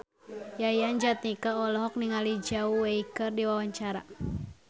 Yayan Jatnika olohok ningali Zhao Wei keur diwawancara